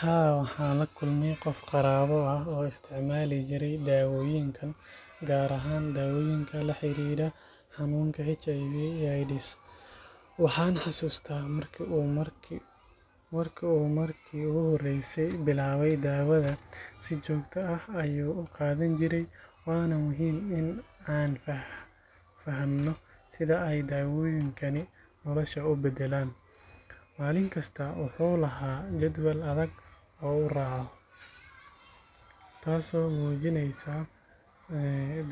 Haa, waxaan la kulmay qof qaraabo ah oo isticmaali jiray daawooyinkan, gaar ahaan daawooyinka la xiriira xanuunka HIV/AIDS. Waxaan xasuustaa markii uu markii ugu horreysay bilaabay daawada, si joogto ah ayuu u qaadan jiray, waana muhiim in aan fahamno sida ay daawooyinkani nolosha u beddelaan. Maalin kasta wuxuu lahaa jadwal adag oo uu raaco, taasoo muujinaysa